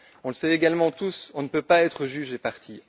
On le sait également tous, on ne peut pas être juge et partie.